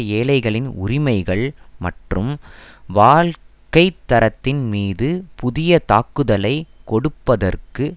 ஏழைகளின் உரிமைகள் மற்றும் வாழ்க்கைத்தரத்தின் மீது புதிய தாக்குதலை தொடுப்பதற்கு